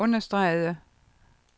understregede